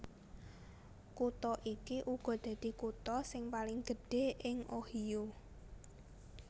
Kutha iki uga dadi kutha sing paling gedhé ing Ohio